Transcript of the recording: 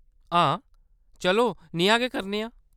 हां, चलो नेहा गै करने आं।